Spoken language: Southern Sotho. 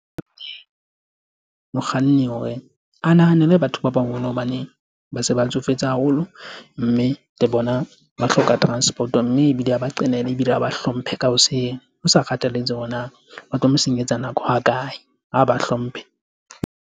Mokganni hore a nahanele batho ba hobane ba se ba tsofetse haholo mme le bona ba hloka transport-o mme ebile ha ba qelela ebile ha ba hlomphe ka hoseng, ho sa kgathaletse hore na ba tlo mo senyetsa nako ha kae, ha ba hlomphe.